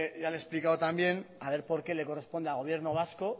ya le he explicado también a ver por qué le corresponde al gobierno vasco